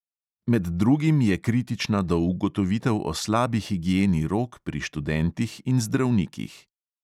Med drugim je kritična do ugotovitev o slabi higieni rok pri študentih in zdravnikih.